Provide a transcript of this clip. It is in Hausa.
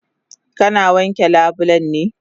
Kana wanke labulen ne?